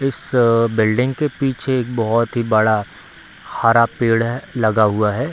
इस बिल्डिंग के पीछे एक बहुत ही बड़ा हरा पेड़ है लगा हुआ है।